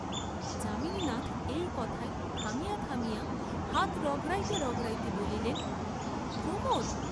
যামিনীনাথ এই কথায় থামিয়া থামিয়া হাত রগড়াতে রগড়াইতে বলিলেন প্রমোদ!